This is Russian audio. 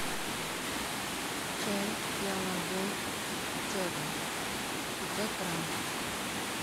чай пиала голд черный пятьсот граммов